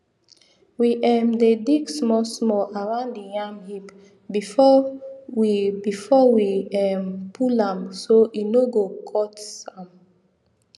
we um dey dig small small around the yam heap before we before we um pull am so e no go cut um